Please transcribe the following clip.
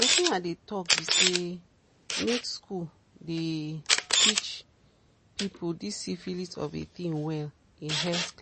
some people still dey shame to talk about syphilisthey don't know say na but